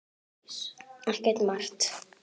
Ekki margt.